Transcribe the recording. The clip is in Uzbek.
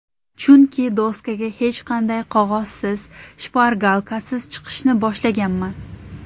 Chunki doskaga hech qanday qog‘ozsiz, shpargalkasiz chiqishni boshlaganman.